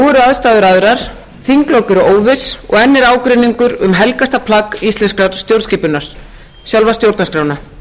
aðstæður aðrar þinglok eru óviss og enn er ágreiningur um helgasta plagg íslenskrar stjórnskipunar sjálfa stjórnarskrána